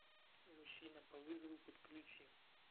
мужчина по вызову подключи